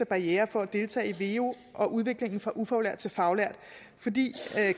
barriere for at deltage i veu og udviklingen fra ufaglært til faglært fordi